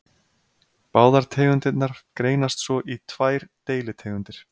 Báðar tegundirnar greinast svo í tvær deilitegundir.